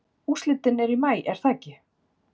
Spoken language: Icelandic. Úrslitin eru í maí er það ekki?